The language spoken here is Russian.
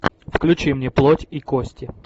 включи мне плоть и кости